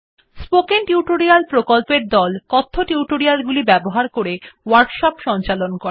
spoken tutorial প্রকল্পর দল কথ্য টিউটোরিয়াল গুলি ব্যবহার করে ওয়ার্কশপ সঞ্চালন করে